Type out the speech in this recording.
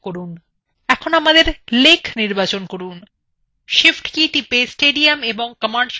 shift key টিপুন এবং stadium ও commercial complex নির্বাচন করুন